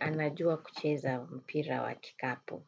anajua kucheza mpira wa kikapu.